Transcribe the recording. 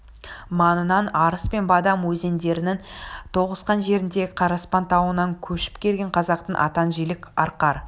маңынан арыс пен бадам өзендерінің тоғысқан жеріндегі қараспан тауынан көшіп келген қазақтың атан жілік арқар